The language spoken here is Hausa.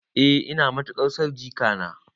Eh ina matuƙar son jikana.